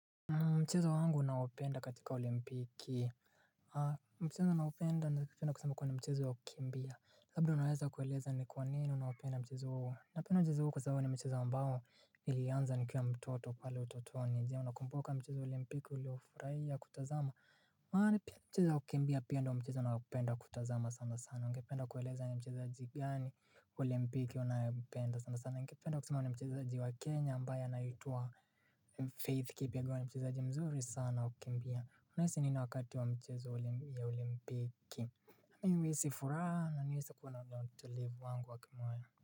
Mchezo wangu naopenda katika olimpiki mchezo naopenda na mchezo napenda kusema kwa ni mchezo wakimbia Labda unaweza kueleza ni kwa nini unaopenda mchezo uhuo Napenda mchezo huo kwa zao ni mchezo ambao ilianza nikiwa mtoto pale utoto anijia Unakumbuka mchezo olimpiki uliofurahia kutazama maana pia ni mchezo wakukimbia pia ndo mchezo ninaopenda kutazama sana sana Unapenda kueleza ni mchezo gigani olimpiki unaopenda sana sana na nikapenda kusimua na mchezaaji wa Kenya ambaye anaitwa Faith Keep alikuwa ni mchezaji mzuri sana wa kukimbia. Nahisi nina wakati wa mchezo wa olimpiki. Nahisi furaha na niwe nahisi kuwa na utulivu wangu wa kimawazo.